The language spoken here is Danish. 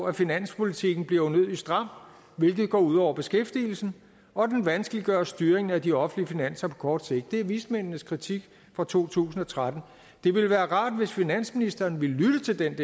at finanspolitikken bliver unødig stram hvilket går ud over beskæftigelsen og den vanskeliggør styringen af de offentlige finanser på kort sigt det er vismændenes kritik fra to tusind og tretten det ville være rart hvis finansministeren ville lytte til den